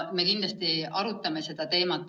Me kindlasti arutame seda teemat.